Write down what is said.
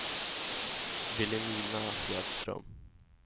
Vilhelmina Hedström